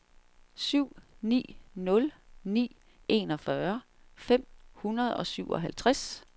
syv ni nul ni enogfyrre fem hundrede og syvoghalvtreds